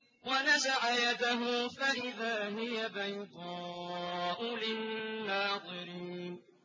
وَنَزَعَ يَدَهُ فَإِذَا هِيَ بَيْضَاءُ لِلنَّاظِرِينَ